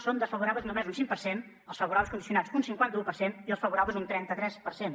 són desfavorables només un cinc per cent els favorables condicionats un cinquanta un per cent i els favorables un trenta tres per cent